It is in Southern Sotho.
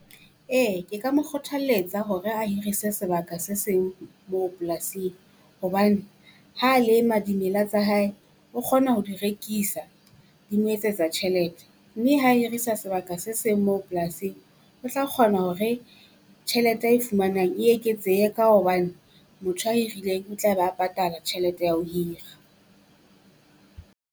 Ee ke ka mo kgothalletsa hore a hirise sebaka se seng moo polasing, hobane ha lema dimela tsa hae o kgona ho di rekisa di mo etsetsa tjhelete. Mme ha hirisa sebaka se seng moo polasing, o tla kgona hore tjhelete a e fumanang e eketsehe ka hobane motho a irileng o tla ba patala tjhelete ya ho hira.